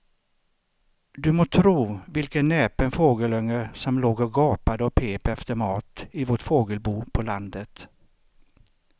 Du må tro vilken näpen fågelunge som låg och gapade och pep efter mat i vårt fågelbo på landet.